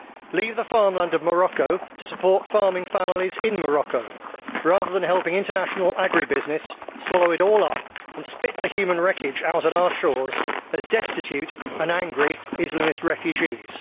Leave the farmland of Morocco to support farming families in Morocco, rather than helping international agri business swallow it all up and spit the human wreckage out at our shores as destitute and angry Islamist refugees.